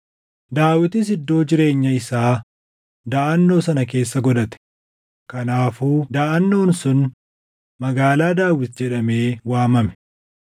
Daawitis iddoo jireenya isaa daʼannoo sana keessa godhate; kanaafuu daʼannoon sun Magaalaa Daawit jedhamee waamame.